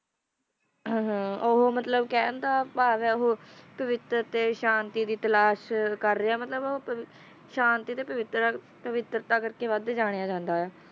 ਉਹ ਮੰਦ-ਭਾਗਣਾ ਮੋਟਰ ਤੇ ਸ਼ਾਂਤੀ ਦੀ ਤਲਾਸ਼ ਕਰ ਰਿਹਾ ਹਾਂ ਕਿਰਪਾ ਕਰਕੇ ਵੱਧ ਗਾਇਆ ਜਾਂਦਾ ਹੈ